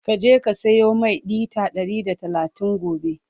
ka je ka siyo Mai litre Ɗari da talatin gobe!